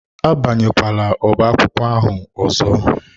Abanyela ọbá akwụkwọ ahụ ọzọ!